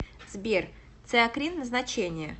сбер циакрин назначение